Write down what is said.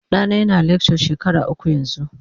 Ɗana yana lecture shekara uku yanzu.